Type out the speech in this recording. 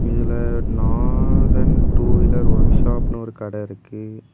இதுல Nathan two wheeler workshop இருக்கு.